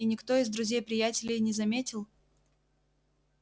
и никто из друзей-приятелей не заметил